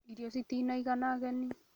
Irio citina igana ageni